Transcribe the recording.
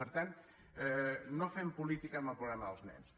per tant no fem política amb el problema dels nens